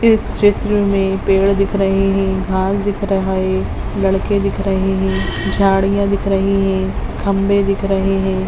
इस चित्र में पेड़ दिख रहे हैं घास दिख रहा हैं लड़के दिख रहे हैं झाड़ियाँ दिख रही हैं खंभे दिख रहे हैं।